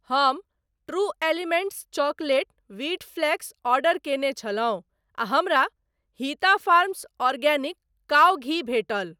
हम true elements chocolate wheat flakes order कयने छलहुँ आ हमरा हिता फार्म्स आर्गेनिक काऊ घी भेटल।